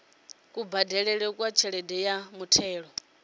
kubadelele kwa tshelede ya muthelo